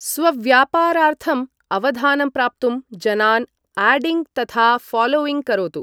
स्वव्यापारार्थम् अवधानं प्राप्तुं जनान् 'आडिङ्ग्' तथा 'ऴालोयिङ्ग्' करोतु।